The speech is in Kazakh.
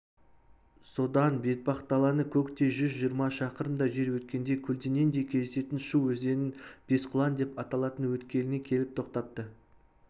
содан бетпақдаланы көктей жүз жиырма шақырымдай жер өткенде көлденеңдей кездесетін шу өзенінің бесқұлан деп аталатын өткеліне келіп тоқтапты